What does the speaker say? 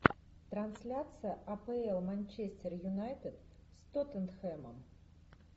трансляция апл манчестер юнайтед с тоттенхэмом